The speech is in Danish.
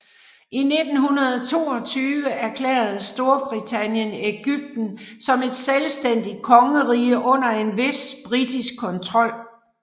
I 1922 erklærede Storbritannien Egypten som et selvstændigt kongerige under en vis britisk kontrol